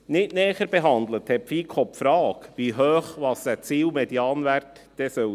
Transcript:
Nicht näher behandelt hat die FiKo die Frage, wie hoch der Ziel-Medianwert sein soll.